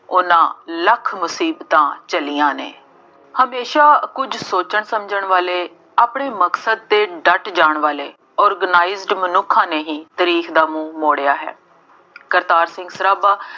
ਉਹਨਾ ਲੱਖ ਮੁਸੀਬਤਾਂ ਝੱਲੀਆਂ ਨੇ। ਹਮੇਸ਼ਾ ਕੁੱਝ ਸੋਚਣ ਸਮਝਣ ਵਾਲੇ, ਆਪਣੇ ਮਕਸਦ ਤੇ ਡੱਟ ਜਾਣ ਵਾਲੇ, organized ਮਨੁੱਖਾਂ ਨੇ ਹੀ ਤਾਰੀਖ ਦਾ ਮੂੰਹ ਮੋੜਿਆ ਹੈ। ਕਰਤਾਰ ਸਿੰਘ ਸਰਾਭਾ